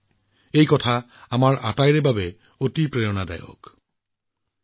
আমাৰ সকলোৰে বাবে আমাৰ জনজাতীয় ভাইভনীসকলৰ এই কাম এক বৃহৎ প্ৰেৰণা